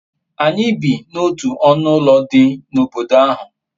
anyi bi n'otu onu ulo di n'obodo ahu